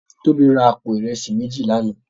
Tobi rá àpó irèsí méjí làná